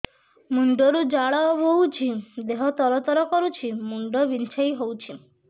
ମୁଣ୍ଡ ରୁ ଝାଳ ବହୁଛି ଦେହ ତର ତର କରୁଛି ମୁଣ୍ଡ ବିଞ୍ଛାଇ ହଉଛି